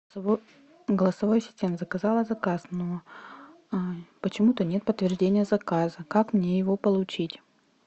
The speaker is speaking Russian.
голосовой ассистент заказала заказ но почему то нет подтверждения заказа как мне его получить